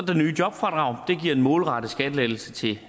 det nye jobfradrag det giver en målrettet skattelettelse til